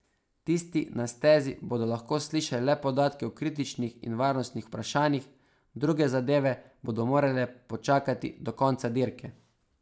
Tisti na stezi bodo lahko slišali le podatke o kritičnih in varnostnih vprašanjih, druge zadeve bodo morale počakati do konca dirke.